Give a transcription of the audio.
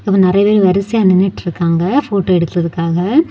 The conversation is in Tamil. அவங்க நெறைய பேர் வரிசையா நின்னுட்டு இருக்காங்க போட்டோ எடுக்குறதுக்குக்காக.